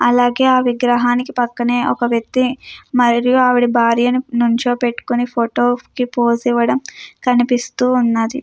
అలాగే ఆ విగ్రహానికి పక్కనే ఒక వ్యక్తి మరియు ఆవిడ భార్యని నుంచో పెట్టుకుని ఫోటో కి పోసేవ్వడం కనిపిస్తూ ఉన్నది.